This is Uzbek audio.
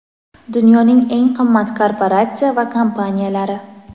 Dunyoning eng qimmat korporatsiya va kompaniyalari.